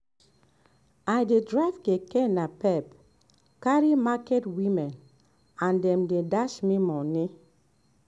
i dey drive keke napep carry market women and them dey dash me money